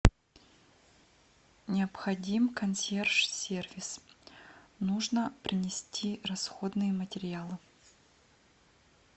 необходим консьерж сервис нужно принести расходные материалы